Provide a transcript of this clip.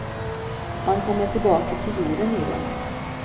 Man kommer tillbaka till jorden i den.